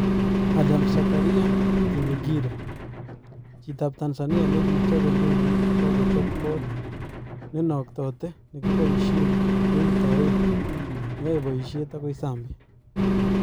Adam Zakaria Kinyekire : Chitab Tanzania nekichope ndekeit kokachop koot nenaktate nekiboishen keutaaen neyae boisiet agoi Zambia